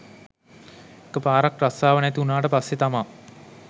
එක පාරක් රස්සාව නැති උනාට පස්සේ තමා